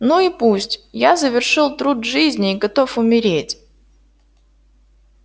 ну и пусть я завершил труд жизни и готов умереть